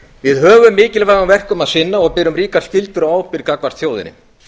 við höfum mikilvægum verkum að sinna og berum ríkar skyldur og ábyrgð gagnvart þjóðinni